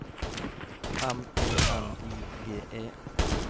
M E N I G E